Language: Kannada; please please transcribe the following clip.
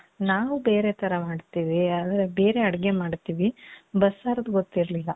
ನಾವು ಬೇರೆ ಥರ ಮಾಡ್ತೀವಿ. ಬೇರೆ ಅಡುಗೆ ಮಾಡ್ತೀವಿ. ಬಸ್ಸಾರ್ದು ಗೊತ್ತಿರ್ಲಿಲ್ಲ.